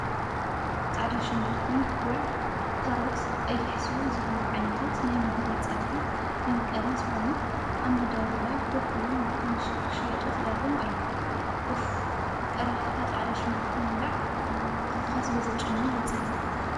ፃዕዳ ሽጉርቲ፣ ጉዕ፣ ካሮት ፣ቀይሕ ሱር ዝበሉ ዓይነታት ናይ ምግቢ ፅብሒ መመቀሪ ዝኮኑ ኣብ መዳበርያ ኮፍ ኢሎም ክንሽየጡ ተዳልዮም ኣለው። እፍፍፍፍ! ቀሪፍካ ፃዕዳ ሽጉርቲ ምብላዕ ኣብካ ስለዘጭኑ የፅልእ።